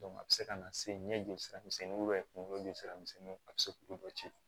a bɛ se ka na se ɲɛjoli misɛnninw kunkolo jusira misɛnninw a bɛ se k'olu dɔ ci